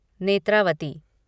Netravati